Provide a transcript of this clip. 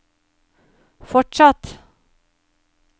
fortsatt